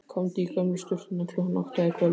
Komdu í gömlu sturturnar klukkan átta í kvöld.